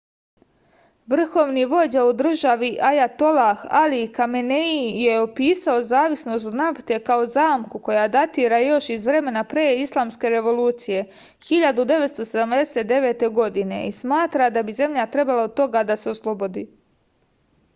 vrhovni vođa u državi ajatolah ali kamenei je opisao zavisnost od nafte kao zamku koja datira još iz vremena pre islamske revolucije 1979. godine i smatra da bi zemlja trebalo toga da se oslobodi